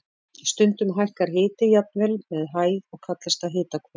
Stundum hækkar hiti jafnvel með hæð og kallast það hitahvörf.